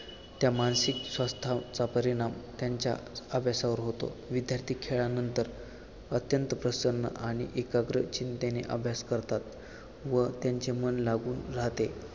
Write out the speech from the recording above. त्या मानसिक स्वास्थ्याचा परिणाम त्यांच्या अभ्यासावर होतो विद्यार्थी खेळानंतर अत्यंत प्रसन्न आणि एकाग्र चिंतेने अभ्यास करतात व त्यांचे मन लागून राहते